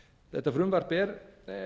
þetta frumvarp er